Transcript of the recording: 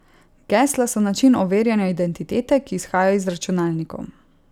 Gesla so način overjanja identitete, ki izhaja iz računalnikov.